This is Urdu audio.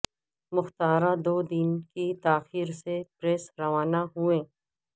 مختاراں دو دن کی تاخیر سے پیرس روانہ ہوئیں